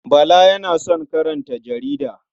Bala yana son karanta jarida.